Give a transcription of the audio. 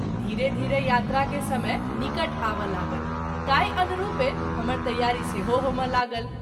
धीरे-धीरे यात्रा के समय निकट आबय लागल ताहि अनरूपे हमर तैयारी सेहो होमय लागल।